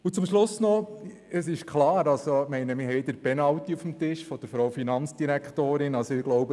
Und zum Schluss noch: Es ist klar, ich meine, wir haben von der Frau Finanzdirektorin den Penalty auf dem Tisch.